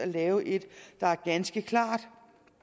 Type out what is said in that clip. lavet et der er ganske klart